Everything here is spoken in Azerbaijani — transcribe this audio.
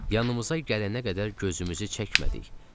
Yanımıza gələnə qədər gözümüzü çəkmədik.